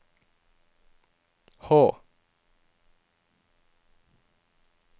Hå